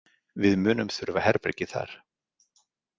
Við munum þurfa herbergið þar.